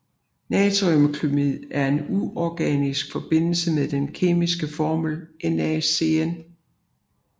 Natriumcynaid er en uorganisk forbindelse med den kemiske formel NaCN